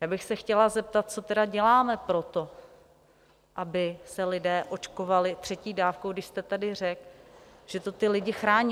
Já bych se chtěla zeptat, co teda děláme pro to, aby se lidé očkovali třetí dávkou, když jste tady řekl, že to ty lidi chrání.